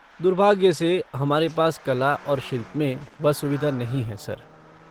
दुर्भाग्य से, हमारे पास कला और शिल्प में वह सुविधा नहीं है, सर।